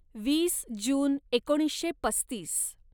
वीस जून एकोणीसशे पस्तीस